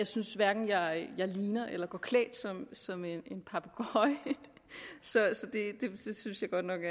synes hverken jeg ligner eller går klædt som en papegøje så det synes jeg godt nok